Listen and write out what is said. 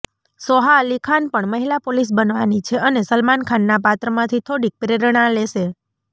સોહા અલી ખાન પણ મહિલા પોલીસ બનવાની છે અને સલમાન ખાનના પાત્રમાંથી થોડીક પ્રેરણા લેશે